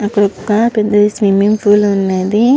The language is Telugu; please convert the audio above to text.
అక్కడొక పెద్ద స్విమ్మింగ్ పూల్ ఉన్నది.